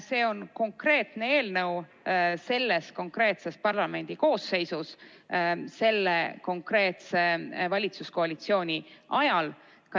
See on konkreetne eelnõu selles konkreetses parlamendikoosseisus selle konkreetse valitsuskoalitsiooni ajal.